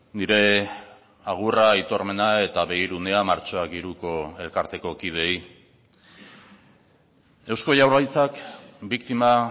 nire agurra aitormena eta begirunea martxoak hiruko elkarteko kideei eusko jaurlaritzak biktima